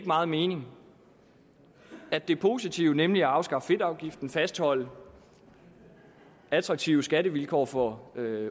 meget mening at det positive nemlig at afskaffe fedtafgiften fastholde attraktive skattevilkår for